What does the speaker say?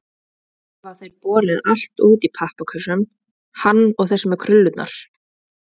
Svo hafa þeir borið allt út í pappakössum, hann og þessi með krullurnar.